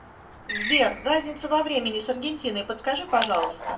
сбер разница во времени с аргентиной подскажи пожалуйста